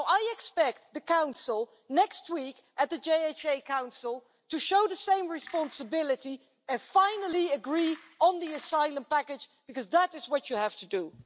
Now I expect the Council next week at the JHA Council to show the same responsibility and finally agree on the asylum package, because that is what it has to do.